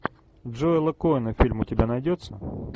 джоэла коэна фильм у тебя найдется